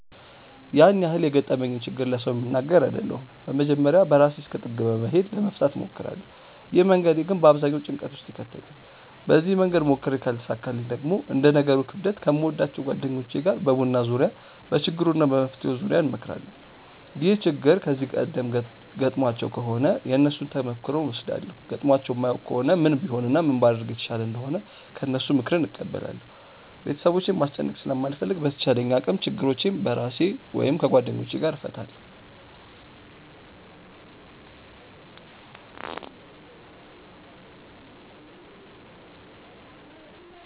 ያን ያህል የገጠመኝን ችግር ለሰው የምናገር አይደለሁም በመጀመርያ በራሴ እስከ ጥግ በመሄድ ለመፍታት እሞክራለው። ይህ መንገዴ ግን በአብዛኛው ጭንቀት ውስጥ ይከተኛል። በዚህ መንገድ ሞክሬ ካልተሳካልኝ ደግሞ እንደ ነገሩ ክብደት ከምወዳቸው ጓደኞቼ ጋር በቡና ዙርያ በችግሩ እና በመፍትሄው ዙርያ እንመክራለን። ይህ ችግር ከዚህ ቀደም ገጥሟቸው ከሆነ የነሱን ተሞክሮ እወስዳለው ገጥሟቸው የማያውቅ ከሆነ ምን ቢሆን እና ምን ባደርግ የተሻለ እንደሆነ ከነሱ ምክርን እቀበላለው። ቤተሰቦቼን ማስጨነቅ ስለማልፈልግ በተቻለኝ አቅም ችግሮቼን በራሴ ወይም ከጓደኞቼ ጋር እፈታለው።